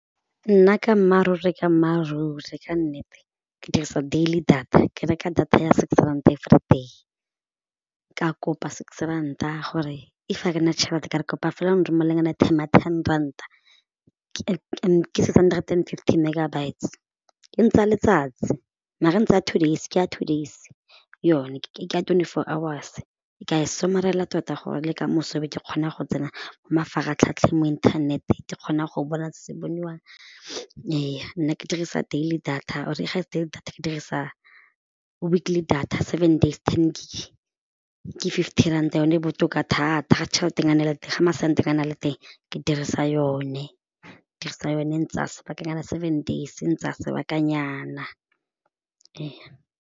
Nna ka mmaaruri ka mmaaruri ka nnete ke dirisa daily data ke reka data ya six rand everyday, ke a kopa six ranta gore if ga ke nna tšhelete ka re kopa fela airtime ya ten ranta ke six hundred and fifty mme megabytes e ntsaya letsatsi maar ntsaya two days ke ya two days yone ke ya tsone twenty four hours, ka e somarela tota gore le ka moso be ke kgona go tsena mafaratlhatlheng mo internet ke kgona go bona se boniwang ee nna ke dirisa daily data or ga e se daily data ke dirisa weekly data seven days ten gig ke ke fifty ranta yone botoka thata ga tšheletenyana e le teng ga masentenyana a le teng ke dirisa yone dirisa yone eng tsa sebakanyana seven days teng tsa sebakanyana ee.